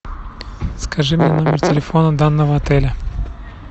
скажи мне номер телефона данного отеля